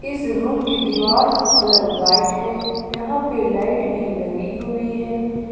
इस रूम की दीवाल का कलर व्हाइट है यहां पे लाइट भी लगी हुई है।